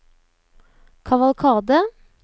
kavalkade